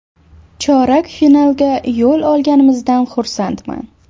Chorak finalga yo‘l olganimizdan xursandman.